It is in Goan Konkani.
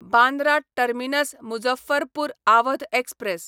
Bandra terminus Muzaffarpur Awadh express